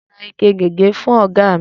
Mo ra ike gègé fú ọ̀gá mi.